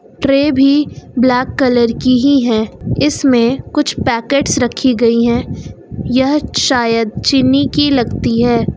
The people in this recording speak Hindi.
ट्रे भी ब्लैक कलर की ही है इसमें कुछ पैकेट्स रखी गई है यह शायद चीनी की लगती है।